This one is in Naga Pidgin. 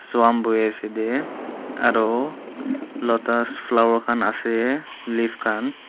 swan bhui asa dey aru lotus flower khan asa leave khan.